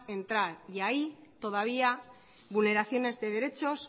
entrar y ahí todavía vulneraciones de derechos